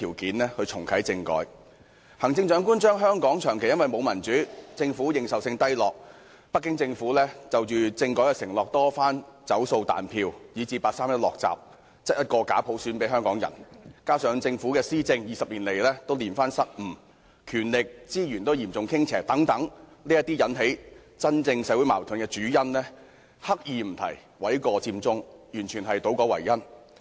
對於引起社會矛盾的真正主因，例如香港長期無法享有民主，政府認受性低落，北京政府就政改的承諾多番"走數"、"彈票"，以至八三一決定"落閘"，把假普選硬塞給香港人，以及政府的施政20年來連番失誤，權力及資源均嚴重傾斜等，行政長官刻意迴避，諉過佔中，這完全是倒果為因。